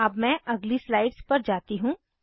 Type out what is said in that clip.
अब मैं अगली स्लाइड्स पर जाती हूँ